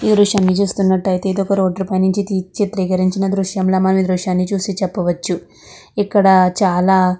ఈ దృశ్యం లో చూస్తున్నట్లైతే ఇది ఒక రోడ్లు పైన చిత్రీకరించిన దృశ్యం ల చెప్పవచ్చు ఇక్కడ చాల--